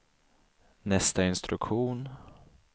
nästa instruktion